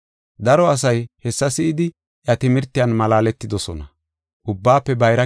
Daro asay hessa si7idi, iya timirtiyan malaaletidosona.